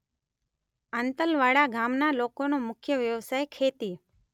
આંતલવાડા ગામના લોકોનો મુખ્ય વ્યવસાય ખેતી